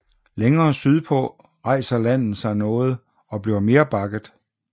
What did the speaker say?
Længere sydpå rejser landet sig noget og bliver mere bakket